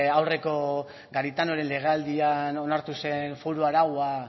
aurreko garitanoren legealdia onartu zen foru araua